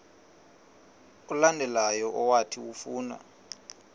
olandelayo owathi ufuna